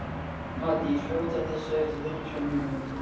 Maddý, slökktu á þessu eftir fjörutíu og níu mínútur.